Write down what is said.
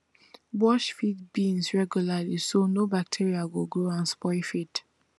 wash feed bins regularly so no bacteria go grow and spoil feed